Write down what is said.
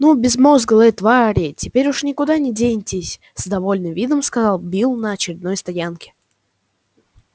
ну безмозглые твари теперь уж никуда не денетесь с довольным видом сказал билл на очередной стоянке